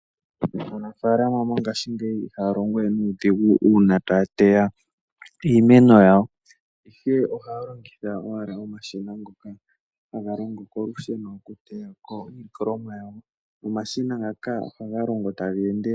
Aanafalama mongashingeyi ihaya longo we nuudhigu uuna taya teya iimeno yawo, ihe ohaya longitha owala omashina ngoka haga longo kolusheno okuteya ko iilikolomwa yawo nomashina ngaka ohaga longo taga endelele.